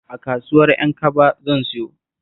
A kasuwar Ƴankaba zan sayo